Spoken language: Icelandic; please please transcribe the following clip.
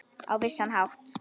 Á vissan hátt.